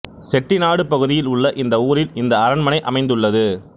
செட்டிநாடு பகுதியில் உள்ள இந்த ஊரில் இந்த அரண்மனை அமைந்துள்ளது